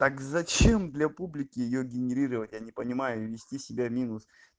так зачем для публики её генерировать я не понимаю вести себя минус